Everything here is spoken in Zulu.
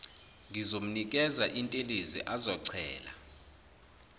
ngizomnikeza intelezi azochela